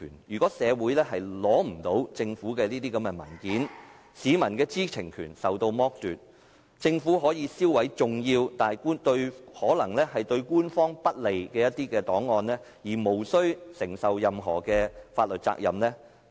如果社會不能取閱政府的文件，市民的知情權將受到剝奪，政府可以銷毀重要但可能對官方不利的一些檔案而無須承擔任何法律責任。